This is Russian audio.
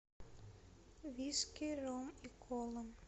виски ром и кола